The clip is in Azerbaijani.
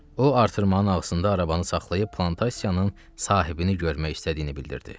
O artırmanın ağzında arabanı saxlayıb plantasiyanın sahibini görmək istədiyini bildirdi.